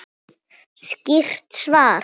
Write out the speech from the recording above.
Skýrt svar!